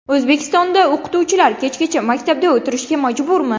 O‘zbekistonda o‘qituvchilar kechgacha maktabda o‘tirishga majburmi?.